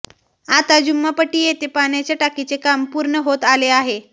आता जुम्मापट्टी येथे पाण्याच्या टाकीचे काम पूर्ण होत आले आहे